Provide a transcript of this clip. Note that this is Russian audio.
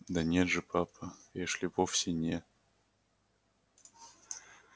да нет же папа эшли вовсе не